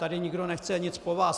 Tady nikdo nechce nic po vás.